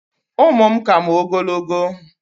ụmụ m ka m ogologo